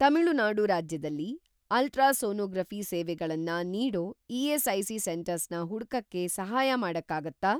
ತಮಿಳುನಾಡು ರಾಜ್ಯದಲ್ಲಿ ಅಲ್ಟ್ರಾಸೋನೋಗ್ರಫಿ಼ ಸೇವೆಗಳನ್ನ ನೀಡೋ ಇ.ಎಸ್.ಐ.ಸಿ. ಸೆಂಟರ್ಸ್‌ನ ಹುಡ್ಕಕ್ಕೆ ಸಹಾಯ ಮಾಡಕ್ಕಾಗತ್ತಾ?